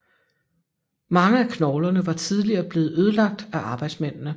Mange af knoglerne var tidligere blevet ødelagt af arbejdsmændene